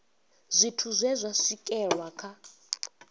zwithu zwe zwa swikelelwa kha